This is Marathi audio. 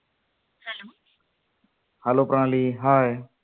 hello Pranali hi